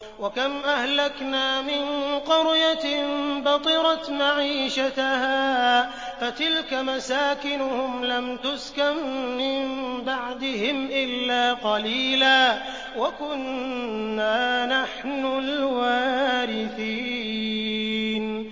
وَكَمْ أَهْلَكْنَا مِن قَرْيَةٍ بَطِرَتْ مَعِيشَتَهَا ۖ فَتِلْكَ مَسَاكِنُهُمْ لَمْ تُسْكَن مِّن بَعْدِهِمْ إِلَّا قَلِيلًا ۖ وَكُنَّا نَحْنُ الْوَارِثِينَ